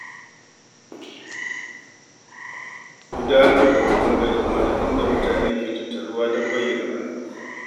Gudanar da zanga-zangar lumana inda mutane ke tattaruwa don bayyana ra’ayinsu.